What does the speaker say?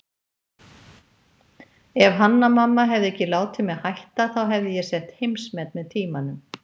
Ef Hanna-Mamma hefði ekki látið mig hætta þá hefði ég sett heimsmet með tímanum.